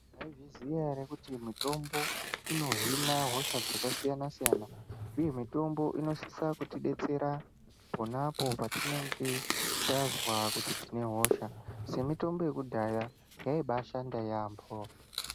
Maizviziya here kuti mitombo inohhina hosha dzakasiyana siyana? Uye mitombo inosise kutidetsera khonapho patinenge tazva kuti tinehosa semitombo yakudhaya yayimboshanda yambo.